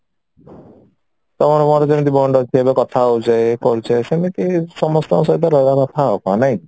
ତ ଆମର ଯେମିତି bond ଅଛି ଏବେ କଥା ହଉଛେ କରୁଛେ ସେମିତି ସମସ୍ତଙ୍କ ସହିତ ରହିବା କଥା ଆଉ କଣ ନାଇଁ କି